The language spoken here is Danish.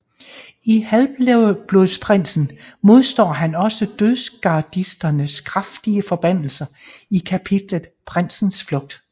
I Halvblodsprinsen modstår han også Dødsgardisternes kraftige forbandelser i kapitlet Prinsens Flugt